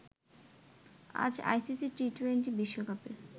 আজ আইসিসি টি২০ বিশ্বকাপের